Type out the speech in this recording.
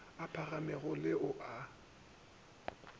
a phagamego le ao a